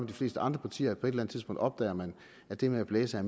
de fleste andre partier på et eller tidspunkt opdager man at det med at blæse og